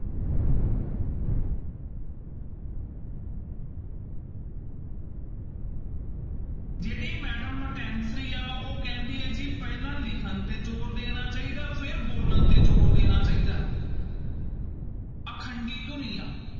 ਜਿਹੜੇ madam ਆ, ਉਹ ਕਹਿੰਦੀ ਹੈ ਜੀ ਪਹਿਲਾਂ ਲਿਖਣ ਤੇ ਜ਼ੋਰ ਦੇਣਾ ਚਾਹੀਦਾ, ਫਿਰ ਬੋਲਣ ਤੇ ਜ਼ੋਰ ਦੇਣਾ ਚਾਹੀਦਾ ਹੈ ਅਖੰਡੀ ਧੁਨੀਆਂ